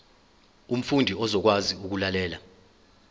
umfundi uzokwazi ukulalela